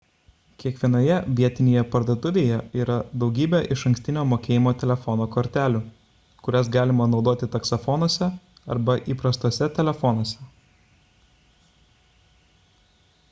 kiekvienoje vietinėje parduotuvėlėje yra daugybė išankstinio mokėjimo telefono kortelių kurias galima naudoti taksofonuose arba įprastuose telefonuose